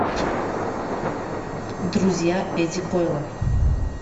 друзья эдди койла